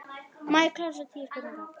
Enn við hverju má búast?